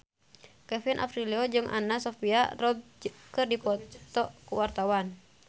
Kevin Aprilio jeung Anna Sophia Robb keur dipoto ku wartawan